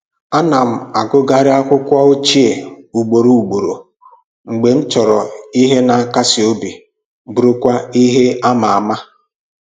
Ana m agụgharị akwụkwọ ochie ugboro ugboro mgbe m chọrọ ihe na akasi obi bụrụkwa ihe ama ama